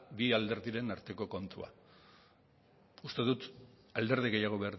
bi alderdien arteko kontua uste dut alderdi gehiago